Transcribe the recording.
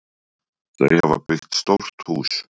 Þau hafa byggt stórt hús.